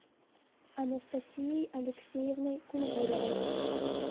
анастасией алексеевной кунгуровой